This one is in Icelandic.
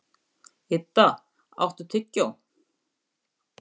Idda, áttu tyggjó?